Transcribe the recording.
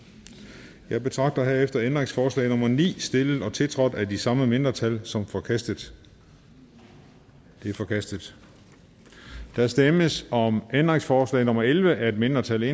jeg betragter herefter ændringsforslag nummer ni stillet og tiltrådt af de samme mindretal som forkastet det er forkastet der stemmes om ændringsforslag nummer elleve af et mindretal